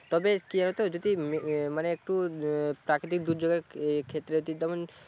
তবে কি হতো যদি মানে একটু প্রাকৃতিক দুর্যোগের ক্ষেত্রে